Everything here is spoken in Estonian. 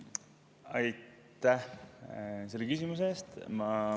Aitäh selle küsimuse eest!